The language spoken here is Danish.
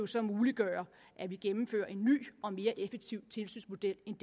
så muliggøre at vi gennemfører en ny og mere effektiv tilsynsmodel end